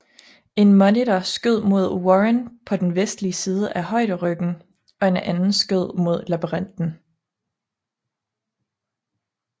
En monitor skød mod Warren på den vestlige side af højderyggen og en anden skød mod labyrinten